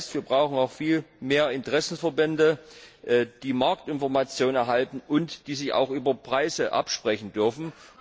Das heißt, wir brauchen auch viel mehr Interessenverbände, die Marktinformationen erhalten, und die sich auch über Preise absprechen dürfen.